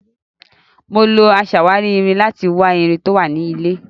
Mo lo aṣàwárí irin láti wa irin tó wà nínú ilẹ̀.